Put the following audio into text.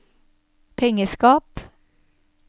pengeskap